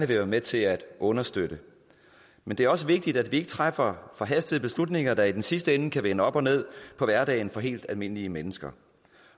være med til at understøtte men det er også vigtigt at vi ikke træffer forhastede beslutninger der i sidste ende kan vende op og ned på hverdagen for helt almindelige mennesker